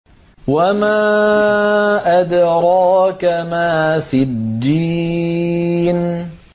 وَمَا أَدْرَاكَ مَا سِجِّينٌ